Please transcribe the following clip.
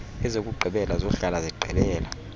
ezokugqibela zohlala zigqibela